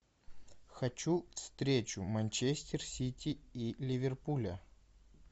хочу встречу манчестер сити и ливерпуля